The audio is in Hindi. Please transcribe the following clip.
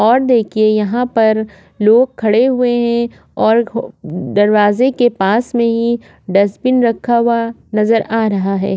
और देखिए यहाँ पर लोग खड़े हुए है और दरवाजे के पास में ही डस्टबीन रखा हुआ नज़र आ रहा है।